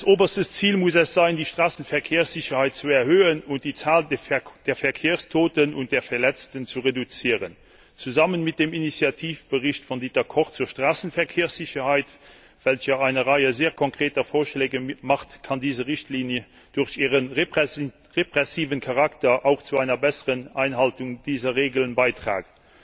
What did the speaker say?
Oberstes Ziel muss es sein, die Straßenverkehrssicherheit zu erhöhen und die Zahl der Verkehrstoten und der Verletzten zu reduzieren. Zusammen mit dem Initiativbericht von Dieter Koch zur Straßenverkehrssicherheit, welcher eine Reihe sehr konkreter Vorschläge enthält, kann diese Richtlinie durch ihren repressiven Charakter auch zu einer besseren Einhaltung dieser Regeln beitragen.